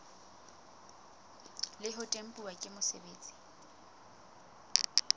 le ho tempuwa ke mosebeletsi